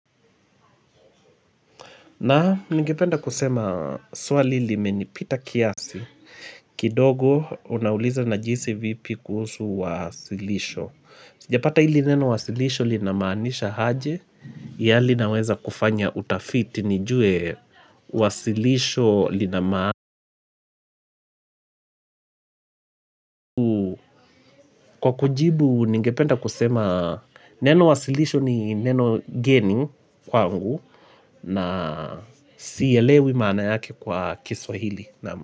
Na ningependa kusema swali limenipita kiasi kidogo unauliza najihisi vipi kuhusu wasilisho. Japata hili neno wasilisho linamanisha haje yali naweza kufanya utafiti nijue wasilisho linaman. Kwa kujibu nigependa kusema neno wasilisho ni neno geni kwangu na siyelewi mana yake kwa kiswahili.